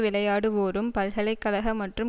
விளையாடுவோரும் பல்கலை கழக மற்றும்